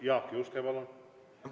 Jaak Juske, palun!